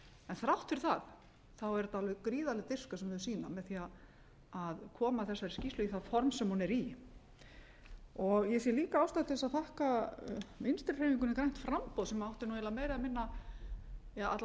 þrátt fyrir það er þetta alveg gríðarleg dirfska sem þau sýna með því að koma þessari skýrslu í það form sem hún er í ég sé líka ástæðu til þess að þakka vinstri hreyfingunni grænu framboði sem átti eiginlega meira eða minna eða alla